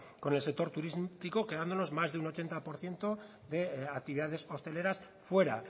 con el sector turístico quedándonos más de un ochenta por ciento de actividades hosteleras fuera